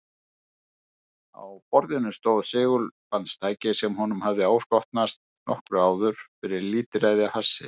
Á borðinu stóð segulbandstæki sem honum hafði áskotnast nokkru áður fyrir lítilræði af hassi.